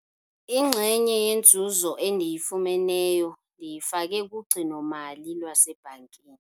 Inxenye yenzuzo endiyifumeneyo ndiyifake kugcino-mali lwasebhankini.